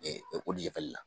jagɛli la.